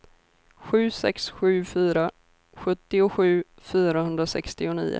sju sex sju fyra sjuttiosju fyrahundrasextionio